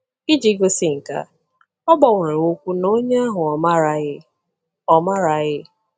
Iji gosi nke a, ọ gbanwere okwu na onye ahụ ọ maaraghị. ọ maaraghị.